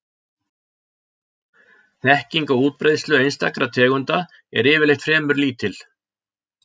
Þekking á útbreiðslu einstakra tegunda er yfirleitt fremur lítil.